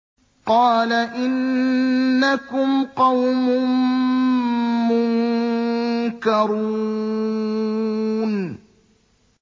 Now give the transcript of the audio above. قَالَ إِنَّكُمْ قَوْمٌ مُّنكَرُونَ